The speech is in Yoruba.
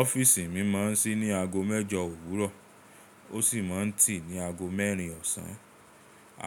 Ọ́fíìsì mi máa ń sí ní ago mẹ́jọ òwúrọ̀ ó sì máa ń tì ní ago mẹ́rin ọ̀sán.